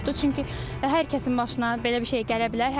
Çünki hər kəsin başına belə bir şey gələ bilər.